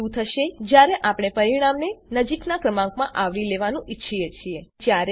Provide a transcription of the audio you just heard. પણ શું થશે જયારે આપણે પરિણામને નજીકનાં ક્રમાંકમાં આવરી લેવાનું ઈચ્છીએ છીએ